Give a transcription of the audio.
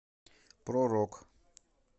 про рок